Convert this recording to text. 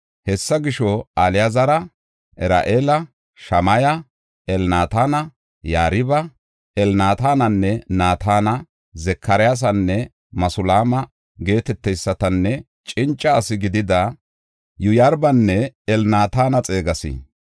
Hessa gisho, Alaazara, Ar7eela, Shamaya, Elnaatana, Yariba, Elnaatana, Naatana, Zakaryaasanne Masulaama geeteteysatanne cinca asi gidida Yoyaaribanne Elnaatana xeegas.